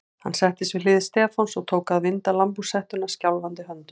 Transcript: Hann settist við hlið Stefáns og tók að vinda lambhúshettuna skjálfandi höndum.